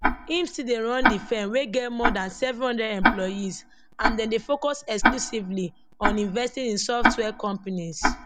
im still dey run di firm wey get more dan 700 employees and dem dey focus exclusively on investing in software companies